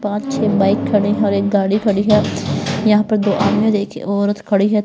पांच छह बाइक खड़े है और एक गाड़ी खड़ी है यहां पर दो देखिए औरत खड़ी है।